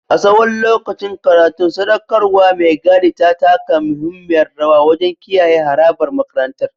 A tsawon lokacin karatun, sadaukarwar mai gadin ta taka muhimmiyar rawa wajen kiyaye harabar makarantar.